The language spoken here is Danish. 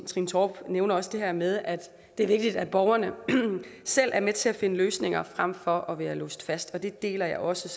torp nævner også det her med at det er vigtigt at borgerne selv er med til at finde løsninger frem for at være låst fast det deler jeg også